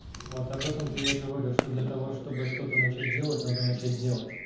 вот об этом-то я и говорю что для того чтобы что-то начать делать надо начать делать